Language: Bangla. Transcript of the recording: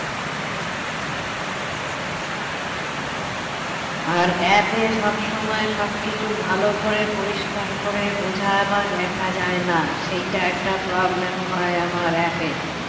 আর app এ সব সময় সবকিছু ভালো করে পরিষ্কার করে বোঝার বা দেখা যায় না সেইটা একটা problem হয় আমার app এ